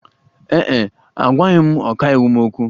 Ee e, agwaghị m ọkàiwu m okwu.